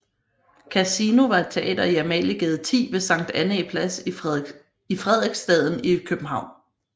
Casino var et teater i Amaliegade 10 ved Sankt Annæ Plads i Frederiksstaden i København